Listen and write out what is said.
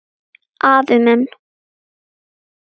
Afi minn.